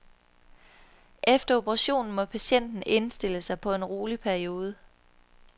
Efter operationen må patienten indstille sig på en rolig periode.